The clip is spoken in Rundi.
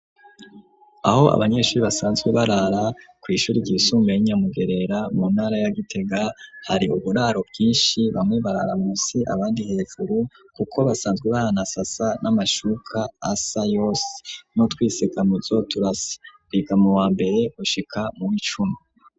Aho abanyeshure basanzwe barara ku ishure ryisumbuye y'inyamugerera mu ntara ya gitega, hari uburaro bwinshi bamwe barara munsi abandi hejuru kuko basanzwe bahanasasa n'amashuka asa yose, n’utwisekamuzo turasa biga mu wa mbere gushika mu w'icumi.